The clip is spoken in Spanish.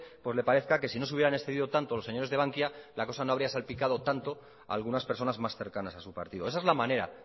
pues le parezca que si no se hubieran excedido tanto los señores de bankia la cosa no habría salpicado tanto a algunas personas más cercanas a su partido esa es la manera